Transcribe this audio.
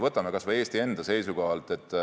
Võtame kas või Eesti enda seisukohalt.